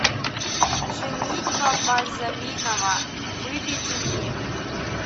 женитьба бальзаминова выведи мне